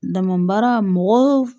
Dama baara mɔgɔ